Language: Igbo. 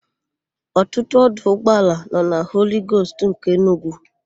Ọtụtụ ọdụ ụgbọala nọ na Holigost nke Enugwu.